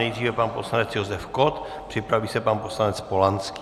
Nejdříve pan poslanec Josef Kott, připraví se pan poslanec Polanský.